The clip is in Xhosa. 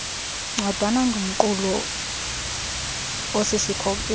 ncwadana ingumqulu osisikhokelo